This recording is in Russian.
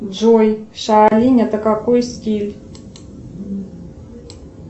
джой шаолинь это какой стиль